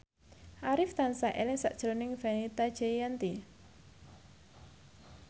Arif tansah eling sakjroning Fenita Jayanti